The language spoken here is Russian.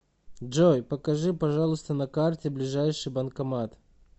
джой покажи пожалуйста на карте ближайший банкомат